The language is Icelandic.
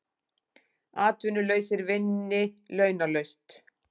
Atvinnulausir vinni launalaust